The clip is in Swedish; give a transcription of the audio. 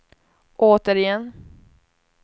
återigen